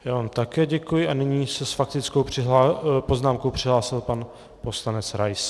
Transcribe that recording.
Já vám také děkuji a nyní se s faktickou poznámkou přihlásil pan poslanec Rais.